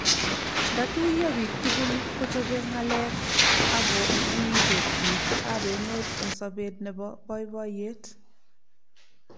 nda tuyo piik tugul ko chope ngalek ako menyingtos piik ab emet eng' sobet nebo baiboiyet